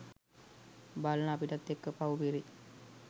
බලන අපිටත් එක්ක පව් පිරෙයි.